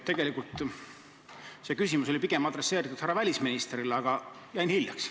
Tegelikult oli see küsimus adresseeritud pigem härra välisministrile, aga jäin hiljaks.